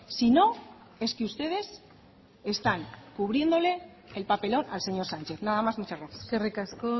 si no es que ustedes están cubriéndole el papelón al señor sánchez nada más muchas gracias eskerrik asko